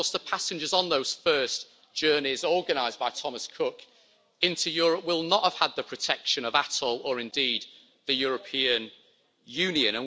And of course, the passengers on those first journeys organised by Thomas Cook into Europe will not have had the protection of ATOL or, indeed, the European Union.